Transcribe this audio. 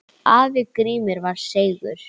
Afi Grímur var seigur.